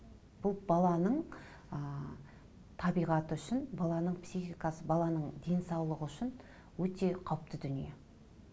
бұл баланың ы табиғаты үшін баланың психикасы баланың денсаулығы үшін өте қауіпті дүние